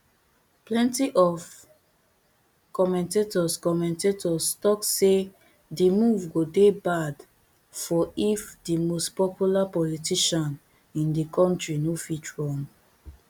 plenty of commentators commentators tok say di move go dey bad for if di most popular politician in di kontri no fit run